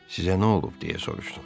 Sizə nə olub, deyə soruşdu.